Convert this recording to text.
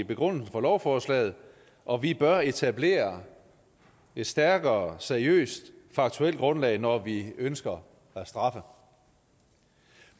begrundelsen for lovforslaget og vi bør etablere et stærkere seriøst faktuelt grundlag når vi ønsker at straffe